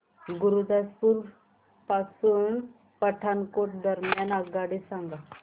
गुरुदासपुर पासून पठाणकोट दरम्यान आगगाडी सांगा